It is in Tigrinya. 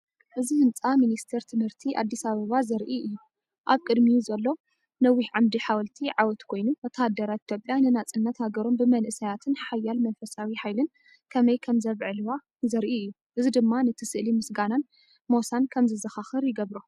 እዚ ህንፃ ሚኒስቴር ትምህርቲ ኣዲስ ኣበባ ዘርኢ እዩ። ኣብ ቅድሚኡ ዘሎ ነዊሕ ዓምዲ ሓወልቲ ዓወት ኮይኑ፡ወተሃደራት ኢትዮጵያ ንናጽነት ሃገሮም ብመንእሰያትን ሓያል መንፈሳዊ ሓይልን ከመይ ከም ዘብዕልዋ ዘርኢ እዩ። እዚ ድማ ነቲ ስእሊ ምስጋናን ሞሳን ከም ዘዘኻኽር ይገብሮ።